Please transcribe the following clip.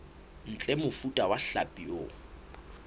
ntle mofuta wa hlapi o